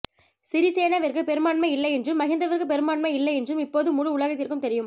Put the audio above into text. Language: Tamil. சிறிசேனவிற்கு பெரும்பான்மை இல்லை என்றும் மஹிந்தவிற்கு பெரும்பான்மை இல்லை என்றும் இப்போது முழு உலகத்திற்கும் தெரியும்